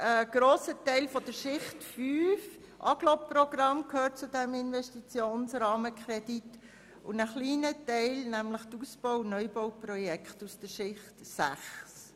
Ein grosser Teil der Schicht 5, Agglomerationsprogramm, gehört zu diesem Investitionsrahmenkredit und ein kleiner Teil, nämlich die Ausbau- und Neubauprojekte aus der Schicht 6.